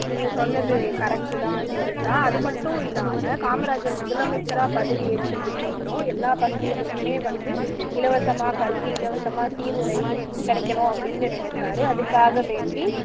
நீங்க சொன்னது correct தான் ஜீவிதா அது மட்டும் இல்லாம காமராஜர் முதலமைச்சரா பதவியேற்றதுக்கு அப்புறம் எல்லா பசங்களுக்குமே வந்து இலவசமா கல்வி இலவசமா சீருடை கிடைக்கணும் அப்படின்னு நினைச்சார் அதுக்காக வேண்டி